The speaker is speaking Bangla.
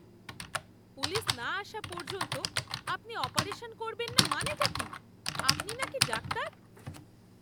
পুলিশ না আসা পর্যন্ত আপনি অপারেশন করবেন না মানেটা কী? আপনি নাকি ডাক্তার!